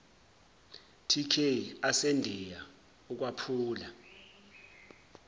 tk asendiya ukwaphula